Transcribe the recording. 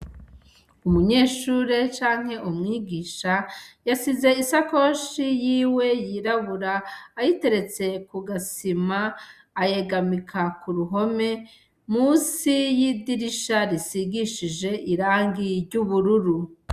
Umunyeshure canke umwigisha yasize i sakoshi yiwe yirabura ayiteretse ku gasima ,ayegamika ku ruhome munsi y'idirisha risigishije irangi ry'ubururu.